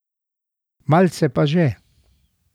Malce pa že.